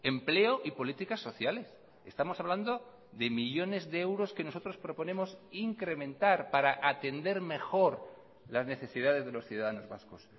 empleo y políticas sociales estamos hablando de millónes de euros que nosotros proponemos incrementar para atender mejor las necesidades de los ciudadanos vascos